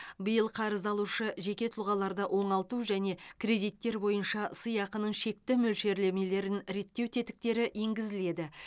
биыл қарыз алушы жеке тұлғаларды оңалту және кредиттер бойынша сыйақының шекті мөлшерлемелерін реттеу тетіктері енгізіледі